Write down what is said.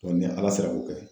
ni Ala sera k'o kɛ